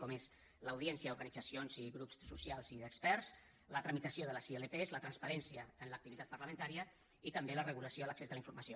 com és l’audiència a organitzacions grups socials i experts la tramitació de les ilp la transparència en l’activitat parlamentària i també la regulació de l’accés a la informació